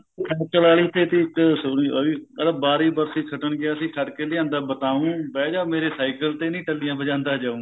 cycle ਆਲੀ ਤੇ ਤੀ ਇੱਕ ਸੁਣੀ ਉਹਦੀ ਕਹਿੰਦਾ ਬਾਰੀ ਬਰਸੀ ਖੱਟਣ ਗਿਆ ਸੀ ਖੱਟ ਕੇ ਲਿਆਂਦਾ ਬਤਾਉ ਬਿਹਜਾ ਮੇਰੇ ਸਾਇਕਲ ਤੇ ਨੀ ਟੱਲੀਆਂ ਬਜਾਂਦਾ ਜਾਉ